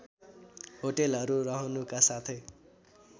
होटलहरू रहनुका साथै